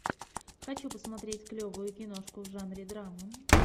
хочу посмотреть клевую киношку в жанре драма